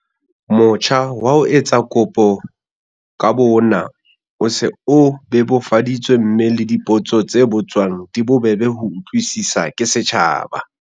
Motjha wa ho etsa kopo ka bo ona o se o bebofaditswe mme le dipotso tse botswang di bobebe ho utlwisiswa ke setjhaba.